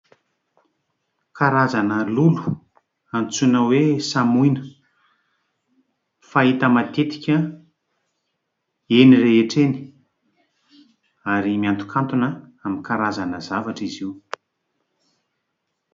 Kazarana lolo antsoina hoe :« samoina », fahita matetika eny rehetra eny ary miantokantona aminy karazana Zavatra izy io.